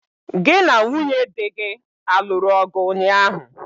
Gị na nwunye dị gị aluru ọgụ ụnyaahụ?